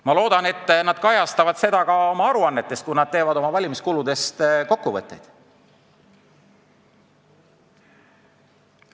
Ma loodan, et nad kajastavad seda ka oma aruannetes, kui teevad valimiskuludest kokkuvõtteid.